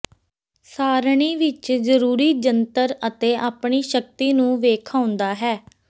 ਸਾਰਣੀ ਵਿੱਚ ਜ਼ਰੂਰੀ ਜੰਤਰ ਅਤੇ ਆਪਣੀ ਸ਼ਕਤੀ ਨੂੰ ਵੇਖਾਉਦਾ ਹੈ